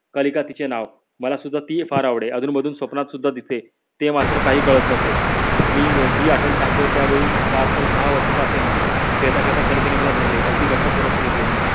कालिका तिचे नाव. मला सुद्धा ति फार आवडे अधून मधून स्वप्नात सुद्धा दिसे. ते मात्र काही कळत नसे. मी जी आठवण सांगतो त्यावेळी फारतर सहा वर्षाचा असेल मी खेळत खेळता कालिकेने मला धरले एकदम घट्ट पोटाशी धरले.